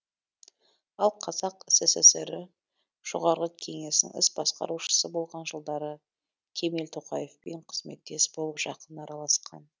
ал қазақ сср і жоғарғы кеңесінің іс басқарушысы болған жылдары кемел тоқаевпен қызметтес болып жақын араласқан